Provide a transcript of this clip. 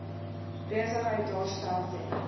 besigheid daarstel ten